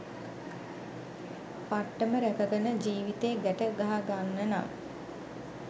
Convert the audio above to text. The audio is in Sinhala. පට්ටම රැකගෙන ජිවිතේ ගැට ගහගන්නනම්